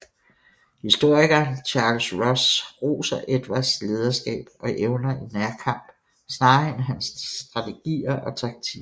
Historikeren Charles Ross roser Edvards lederskab og evner i nærkamp snarere end hans strategier og taktik